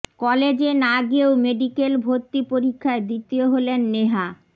কলেজে না গিয়েও মেডিকেল ভর্তি পরীক্ষায় দ্বিতীয় হলেন নেহা